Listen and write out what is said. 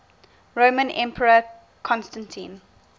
roman emperor constantine